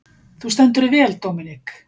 Þú stendur þig vel, Dominik!